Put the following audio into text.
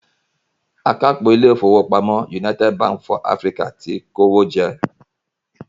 Akápò ilé ìfowópamọ́ United Bank for Africa ti kó owó jẹ.